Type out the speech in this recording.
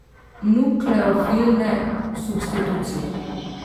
Nukleofilne substitucije.